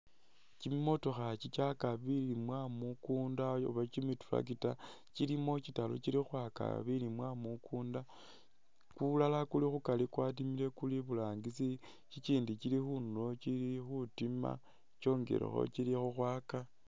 Kimimotokha kikyaka bilimwa mukunda oba kimitractor kilimo kitaru kili khukhwaka bilimwa mukunda kulala kuli khukari kwatimile kuli iburangisi, kikindi kili khundulo kili khutima kyongelekho kili khukhwaka